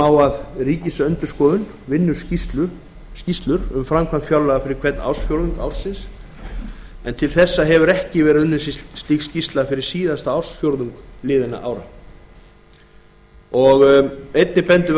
á að ríkisendurskoðun vinnur skýrslur um framkvæmd fjárlaga fyrir hvern ársfjórðung en til þessa hefur ekki verið unnin slík skýrsla fyrir síðasta ársfjórðung liðinna ára minni hlutinn bendir